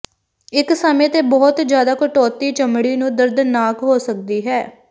ਇਕ ਸਮੇਂ ਤੇ ਬਹੁਤ ਜ਼ਿਆਦਾ ਕਟੌਤੀ ਚਮੜੀ ਨੂੰ ਦਰਦਨਾਕ ਹੋ ਸਕਦੀ ਹੈ